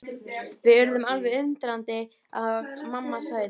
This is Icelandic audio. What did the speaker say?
Við urðum alveg undrandi og mamma sagði.